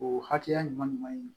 O hakɛya ɲuman ɲuman